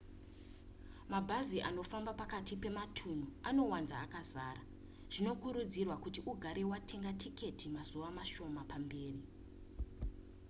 mabhazi anofamba pakati pematunhu anowanzova akazara zvinokurudzirwa kuti ugare watenga tiketi mazuva mashoma mberi